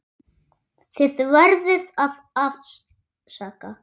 Þið verðið að afsaka.